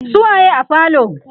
su waye a falo?